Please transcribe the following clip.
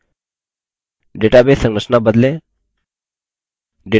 database संरचना बदलें